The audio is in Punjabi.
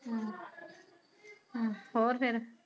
ਹਮ ਹਮ ਹੋਰ ਫੇਰ